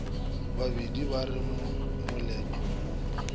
bapedi ba re moletlo wo